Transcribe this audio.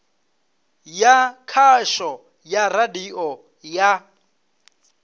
ya khasho ya radio ya